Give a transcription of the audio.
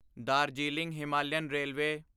Darjeeling Himalayan railway